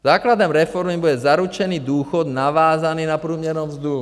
Základem reformy bude zaručený důchod navázaný na průměrnou mzdu.